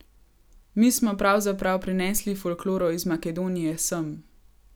Mi smo pravzaprav prinesli folkloro iz Makedonije sem.